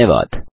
धन्यवाद